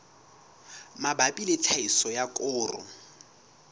mabapi le tlhahiso ya koro